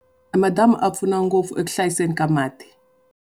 E madamu ya pfuna ngopfu eku hlayiseni ka mati.